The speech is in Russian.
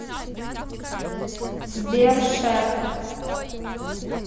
сбер шеф